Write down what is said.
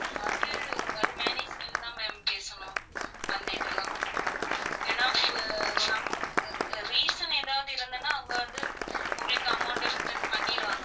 நீங்க அது அது manager கிட்டதா ma'am பேசணும் அந்த இதெல்லாம் ஏன்னா some reason எதாவது இருந்தனா அவங்க வந்து உங்களுக்கு amount return பண்ணிருவாங்க